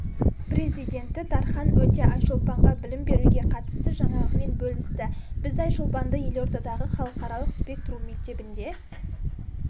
президенті дархан өте айшолпанға білім беруге қатысты жаңалығымен бөлісті біз айшолпанды елордадағы халықаралық спектрум мектебінде